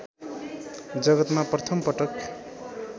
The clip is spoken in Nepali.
जगतमा प्रथम पटक